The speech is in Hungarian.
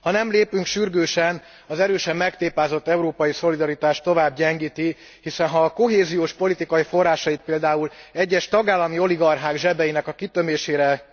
Ha nem lépünk sürgősen, az erősen megtépázott európai szolidaritást az tovább gyengíti, hiszen ha a kohéziós politikai forrásait például egyes tagállami oligarchák zsebeinek a kitömésére